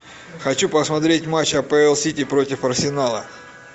хочу посмотреть матч апл сити против арсенала